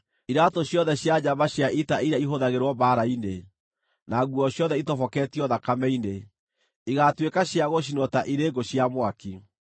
Iraatũ ciothe cia njamba cia ita iria ihũthagĩrwo mbaara-inĩ, na nguo ciothe ĩtoboketio thakame-inĩ, igaatuĩka cia gũcinwo ta irĩ ngũ cia mwaki.